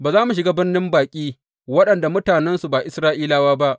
Ba za mu shiga birnin baƙi waɗanda mutanensu ba Isra’ilawa ba.